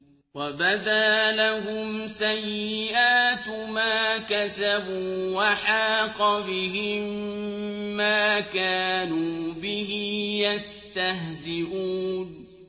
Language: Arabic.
وَبَدَا لَهُمْ سَيِّئَاتُ مَا كَسَبُوا وَحَاقَ بِهِم مَّا كَانُوا بِهِ يَسْتَهْزِئُونَ